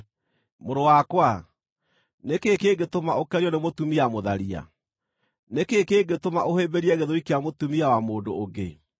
Mũrũ wakwa, nĩ kĩĩ kĩngĩtũma ũkenio nĩ mũtumia mũtharia? Nĩ kĩĩ kĩngĩtũma ũhĩmbĩrie gĩthũri kĩa mũtumia wa mũndũ ũngĩ?